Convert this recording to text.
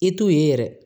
I t'u ye yɛrɛ